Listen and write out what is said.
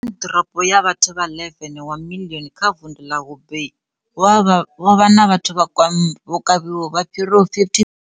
Wuhan, ḓorobo ya vhathu vha 11 wa miḽioni kha vundu ḽa Hubei, vho vha vha na vhathu vho kavhiwaho vha fhiraho 50, 000.